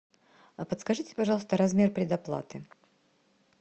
а подскажите пожалуйста размер предоплаты